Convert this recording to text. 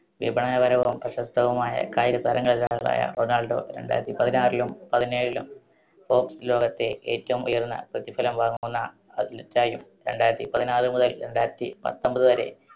വിപണനപരവും പ്രശസ്തവുമായ കായികതാരങ്ങളിലൊരാളായ റൊണാൾഡോ രണ്ടായിരത്തിപതിനാറിലും പതിനേഴിലും sports ലോകത്തെ ഏറ്റവും ഉയർന്ന പ്രതിഫലം വാങ്ങുന്ന athlete ആയും രണ്ടായിരത്തിപതിനാറ് മുതൽ രണ്ടായിരത്തി പത്തൊൻപതുവരെ